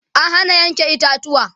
an Hana Yanke itatuwa